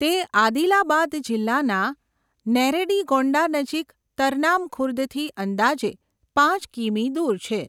તે આદિલાબાદ જિલ્લાના નેરેડીગોંડા નજીક તરનામ ખુર્દથી અંદાજે પાંચ કિમી દૂર છે.